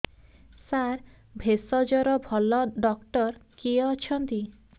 ସାର ଭେଷଜର ଭଲ ଡକ୍ଟର କିଏ ଅଛନ୍ତି